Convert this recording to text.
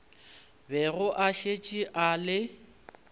bego a šetše a le